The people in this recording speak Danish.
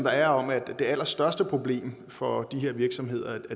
er om at det allerstørste problem for de her virksomheder